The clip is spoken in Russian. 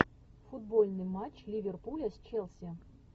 футбольный матч ливерпуля с челси